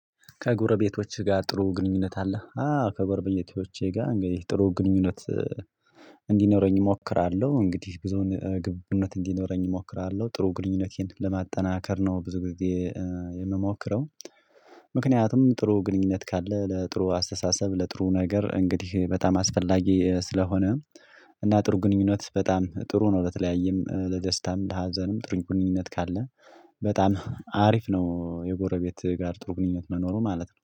ከጎረቤቶችህ ጋር ጥሩ ግንኙነት አለህ? አዎ ከጎረቤቶቼ ጋር እንግዲህ ጥሩ ግንኙነት እንዲኖረኝ እሞክራለሁ እንግዲህ ብዙውን ግብቡነት እንዲኖረኝ እሞክራለሁ ጥሩ ግንኙነቴን ለማጠናከር ነው ብዙ ጊዜ የምሞክረው ምክንያቱም ጥሩ ግንኙነት ካለ ለጥሩ አስተሳሰብ ለጥሩ ነገር እንግዲህ በጣም አስፈላጊ ስለሆነ እና ጥሩ ግንኙነት በጣም ጥሩ ነው ለተለያየም ለደስታም ለሀዘንም ጥሩ ግንኙነት ካለ በጣም አሪፍ ነው የጎረቤት ጋር ጥሩ ግንኙነት መኖሩ ማለት ነው